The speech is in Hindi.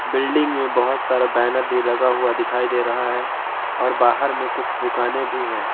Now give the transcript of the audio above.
बिल्डिंग में बहोत सारा बैनर भी लगा हुआ दिखाई दे रहा है और बाहर में कुछ दुकानें भी हैं।